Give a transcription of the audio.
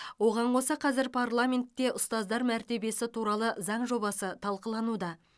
оған қоса қазір парламентте ұстаздар мәртебесі туралы заң жобасы талқылануда